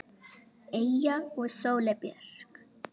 Eyja og Sóley Björk.